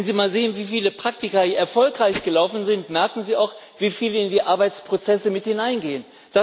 Wenn Sie mal sehen, wie viele Praktika hier erfolgreich gelaufen sind, merken Sie auch, wie viele in die Arbeitsprozesse mit hineingehen.